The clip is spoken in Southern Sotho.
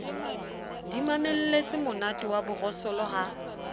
di mamelletsemonate wa borosolo ha